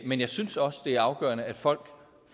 men jeg synes også det er afgørende at folk